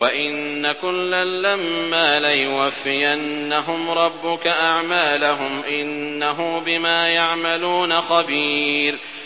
وَإِنَّ كُلًّا لَّمَّا لَيُوَفِّيَنَّهُمْ رَبُّكَ أَعْمَالَهُمْ ۚ إِنَّهُ بِمَا يَعْمَلُونَ خَبِيرٌ